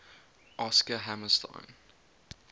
oscar hammerstein